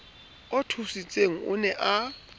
o thusitseng o ne a